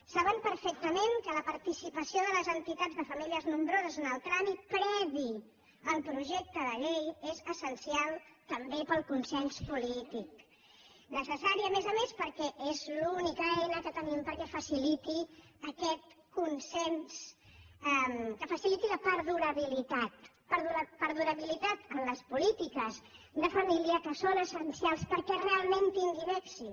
saben perfectament que la participació de les entitats de famílies nombroses en el tràmit previ al projecte de llei és essencial també per al consens polític necessari a més a més perquè és l’única eina que tenim perquè es faciliti aquest consens que faci·liti la perdurabilitat perdurabilitat en les polítiques de família que són essencials perquè realment tinguin èxit